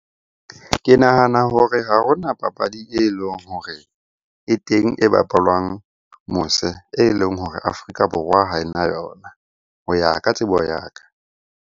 Ke nahana hore ha hona papadi e leng hore e teng e bapalwang mose, e leng hore Afrika Borwa ha e na yona ho ya ka tsebo ya ka.